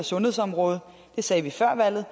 sundhedsområdet det sagde vi før valget